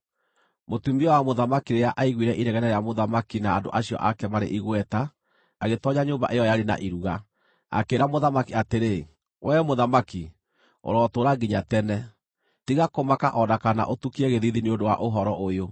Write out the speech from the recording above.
Mũtumia wa mũthamaki rĩrĩa aiguire inegene rĩa mũthamaki na andũ acio ake maarĩ igweta agĩtoonya nyũmba ĩyo yarĩ na iruga. Akĩĩra mũthamaki atĩrĩ, “Wee mũthamaki, ũrotũũra nginya tene! Tiga kũmaka o na kana ũtukie gĩthiithi nĩ ũndũ wa ũhoro ũyũ!